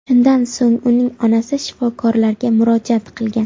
Shundan so‘ng uning onasi shifokorlarga murojaat qilgan.